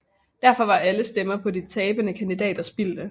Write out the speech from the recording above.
Derfor var alle stemmer på de tabende kandidater spildte